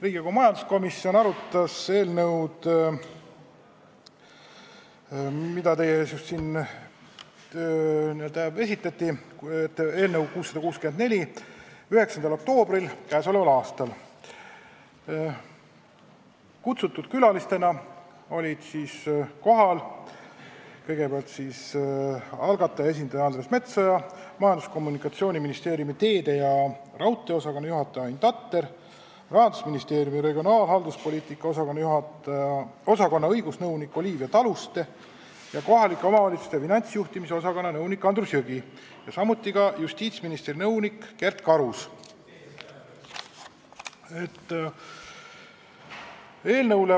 Riigikogu majanduskomisjon arutas eelnõu 664, mida teile siin just esitleti, 9. oktoobril k.a. Külalistena olid kohale kutsutud algatajate esindaja Andres Metsoja, Majandus- ja Kommunikatsiooniministeeriumi teede- ja raudteeosakonna juhataja Ain Tatter, Rahandusministeeriumi regionaalhalduspoliitika osakonna õigusnõunik Olivia Taluste ja kohalike omavalitsuste finantsjuhtimise osakonna nõunik Andrus Jõgi ning justiitsministri nõunik Kert Karus.